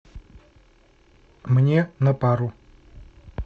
мне на пару